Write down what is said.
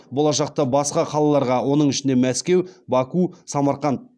болашақта басқа қалаларға оның ішінде мәскеу баку самарқан